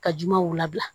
Ka jumɛnw labila